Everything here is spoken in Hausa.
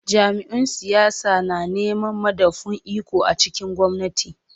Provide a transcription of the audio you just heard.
Jam’iyyun siyasa na neman madafun iko a cikin gwamnati.